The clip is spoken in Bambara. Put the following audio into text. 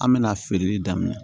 An bɛna feereli daminɛ